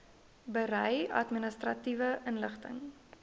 berei administratiewe inligting